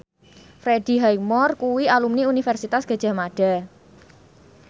Freddie Highmore kuwi alumni Universitas Gadjah Mada